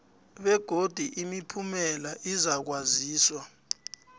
begodu imiphumela izakwaziswa